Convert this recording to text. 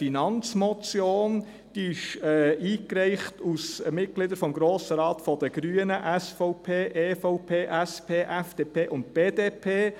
Eingereicht wurde sie von Grossratsmitgliedern der Grünen, der SVP, der EVP, der SP, der FDP und der BDP.